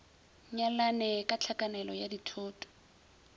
nyalane ka tlhakanelo ya dithoto